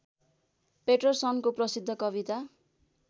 पैटरसनको प्रसिद्ध कविता